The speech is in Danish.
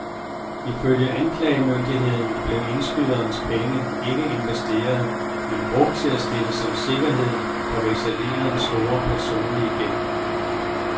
Ifølge anklagemyndigheden blev indskydernes penge ikke investeret, men brugt til at stille som sikkerhed for vekselererens store personlige gæld.